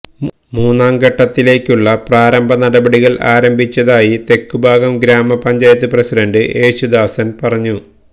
മൂന്നാം ഘട്ടത്തിലേക്കുള്ള പ്രാരംഭ നടപടികള് ആരംഭിച്ചതായി തെക്കുംഭാഗം ഗ്രാമപഞ്ചായത്ത് പ്രസിഡന്റ് യേശുദാസന് പറഞ്ഞു